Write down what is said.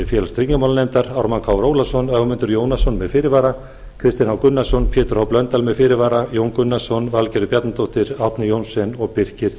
félags og tryggingamálanefndar ármann krónu ólafsson ögmundur jónasson með fyrirvara kristinn h gunnarsson pétur h blöndal með fyrirvara jón gunnarsson valgerður bjarnadóttir árni johnsen og birkir